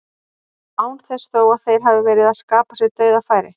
Án þess þó að þeir hafi verið að skapa sér dauðafæri.